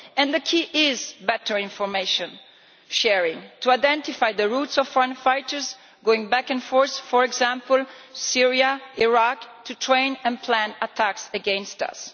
The key is better information sharing to identify the routes taken by foreign fighters going back and forth, for example to Syria and Iraq, to train and plan attacks against us.